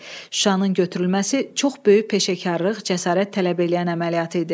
Şuşanın götürülməsi çox böyük peşəkarlıq, cəsarət tələb eləyən əməliyyat idi.